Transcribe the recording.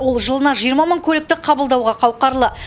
ол жылына жиырма көлікті қабылдауға қауқарлы